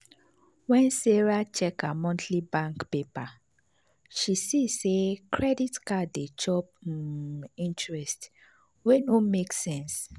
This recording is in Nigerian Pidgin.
when sarah check her monthly bank paper she see say credit card dey chop um interest wey no make sense.